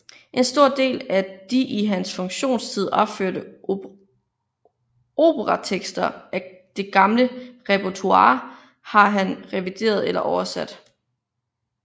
En stor del af de i hans funktionstid opførte operatekster af det gamle repertoire har han revideret eller oversat